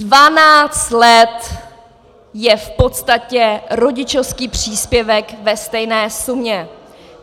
Dvanáct let je v podstatě rodičovský příspěvek ve stejné sumě.